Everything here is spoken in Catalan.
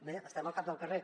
bé estem al cap del carrer